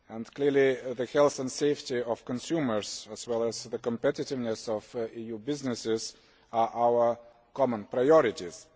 Clearly the health and safety of consumers as well as the competitiveness of EU businesses are our common priorities.